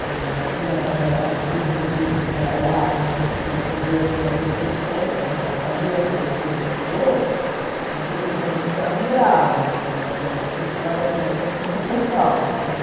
que já tinha trabalhado tudo o que tinha que trabalhar, eh tinha que ver como ele sustenta esta família que ele sustentou, que tudo foi muito admirável, mas isso foi assim muito pessoal tudo.